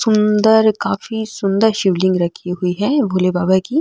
सुन्दर काफी सुन्दर शिव लिंग रखी हुई है भोले बाबा की।